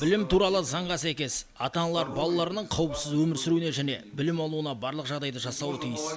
білім туралы заңға сәйкес ата аналар балаларының қауіпсіз өмір сүруіне және білім алуына барлық жағдайды жасауы тиіс